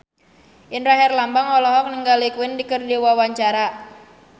Indra Herlambang olohok ningali Queen keur diwawancara